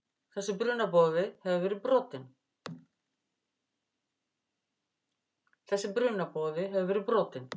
Þessi brunaboði hefur verið brotinn.